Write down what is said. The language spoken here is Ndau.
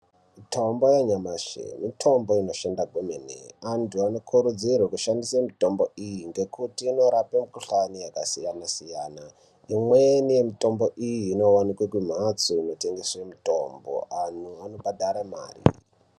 Mitombo yanyamashi mitombo inoshanda kwemene. Vantu vanokurudzirwa kushandisa mitombo iyi ngekuti inorape mukhuhlani yakasiyana-siyana. Imweni yemutombo iyi inowanikwe kumhatso inotengeswe mitombo. Anhtu anobhadhare mare.